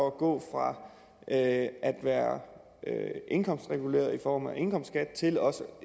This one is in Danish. at gå fra at være indkomstreguleret i form af indkomstskat til også